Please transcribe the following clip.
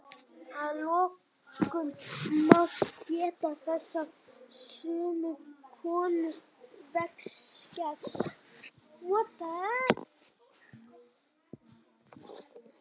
að lokum má geta þess að sumum konum vex skegg